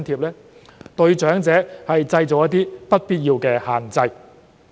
這對長者造成不必要的限制。